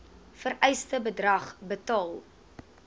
vereiste bedrag betaal